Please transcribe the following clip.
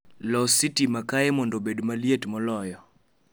Los sitima kae mondo obed maliet moloyo